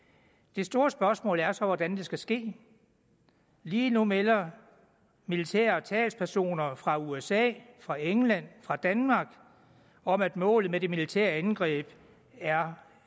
det store spørgsmål er så hvordan det skal ske lige nu melder militære talspersoner fra usa fra england fra danmark om at målet med de militære angreb er